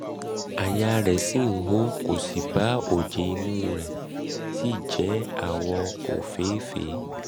àyà rẹ̀ àyà rẹ̀ ṣì ń hó kò sí um ibà oje imú rẹ̀ sì jẹ́ àwọ̀ òféèfé